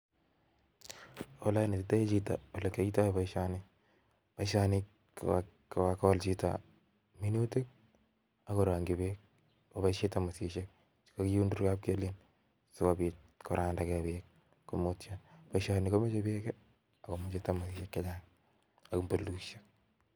Ole onetitoi chito olekiyoitoi boishoni, kogakool chito minutiik ak korongyii beek ak koboishien tambusisiek, boishoni komoche beek ak tambusiaiek chechang